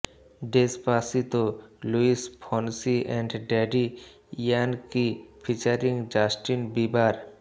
Despacito Luis Fonsi and Daddy Yankee featuring Justin Bieber